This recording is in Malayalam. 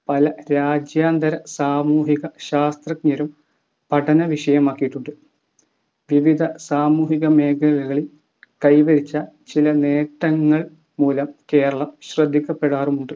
പല രാജ്യാന്തര സാമൂഹിക ശാസ്ത്രജ്ഞരും പഠന വിഷയമാക്കിയിട്ടുണ്ട്‌. വിവിധ സാമൂഹിക മേഖലകളിൽ കൈവരിച്ച ചില നേട്ടങ്ങൾ മൂലം കേരളം ശ്രദ്ധിക്കപ്പെടാറുമുണ്ട്